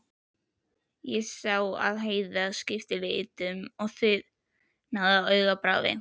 Ég sá að Heiða skipti litum og þiðnaði á augabragði.